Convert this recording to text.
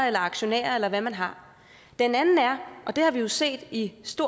eller aktionærer eller hvad man har den anden er og det har vi jo set i